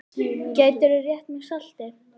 Gætirðu rétt mér saltið?